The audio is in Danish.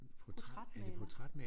Portrætmaler